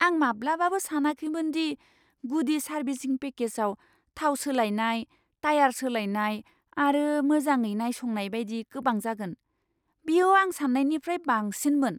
आं माब्लाबाबो सानाखैमोन दि गुदि सार्भिसिं पेकेजआव थाव सोलायनाय, टाया'र सोलायनाय आरो मोजाङै नायसंनाय बायदि गोबां जागोन। बेयो आं सान्नायनिफ्राय बांसिनमोन!